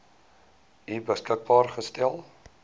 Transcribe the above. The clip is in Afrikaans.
u beskikbaar gestel